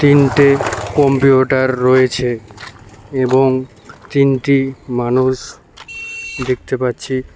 তিনটে কম্পিউটার রয়েছে এবং তিনটি মানুষ দেখতে পাচ্ছি।